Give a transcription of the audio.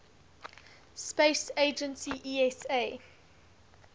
space agency esa